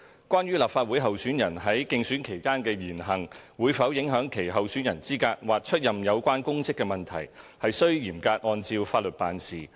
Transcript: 關於立法會候選人在競選期間的言行會否影響其候選人資格或出任有關公職的問題，須嚴格按照法律辦事。